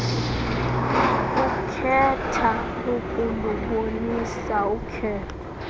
ekhetha ukulubonisa ukhetho